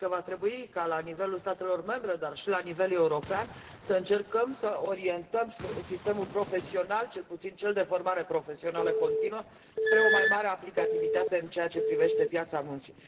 Cred că va trebui ca, la nivelul statelor membre, dar și la nivel european, să încercăm să orientăm sistemul profesional, cel puțin cel de formare profesională continuă, spre o mai mare aplicativitate în ceea ce privește piața muncii.